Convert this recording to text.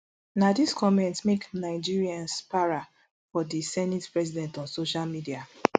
na dis comment make nigerins para for di senate president on social media